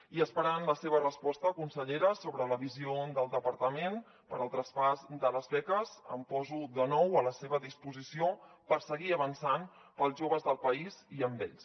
i esperant la seva resposta consellera sobre la visió del departament per al tras·pàs de les beques em poso de nou a la seva disposició per seguir avançant per als joves del país i amb ells